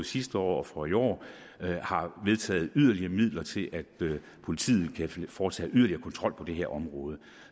sidste år og for i år har vedtaget at yderligere midler til at politiet kan foretage yderligere kontrol på det her område